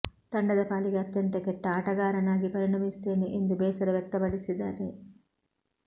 ತಂಡದ ಪಾಲಿಗೆ ಅತ್ಯಂತ ಕೆಟ್ಟ ಆಟಗಾರನಾಗಿ ಪರಿಣಮಿಸುತ್ತೇನೆ ಎಂದು ಬೇಸರ ವ್ಯಕ್ತಪಡಿಸಿದ್ದಾರೆ